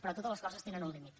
però totes les coses tenen un límit